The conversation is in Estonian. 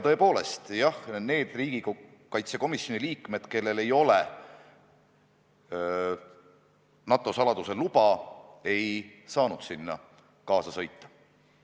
Tõepoolest, need riigikaitsekomisjoni liikmed, kellel ei ole NATO saladuse luba, ei saanud sinna kaasa sõita.